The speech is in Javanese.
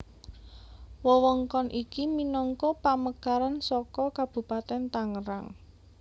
Wewengkon iki minangka pamekaran saka Kabupatèn Tangerang